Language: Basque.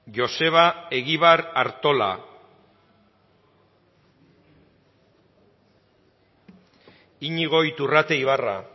joseba egibar artola iñigo iturrate ibarra